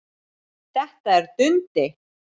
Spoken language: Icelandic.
Þetta er Dundi!